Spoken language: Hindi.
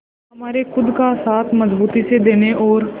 हमारे खुद का साथ मजबूती से देने और